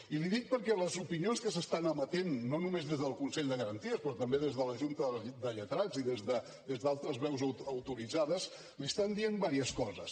i l’hi dic perquè les opinions que s’estan emetent no només des del consell de garanties sinó també des de la junta de lletrats i des d’altres veus autoritzades li estan dient diverses coses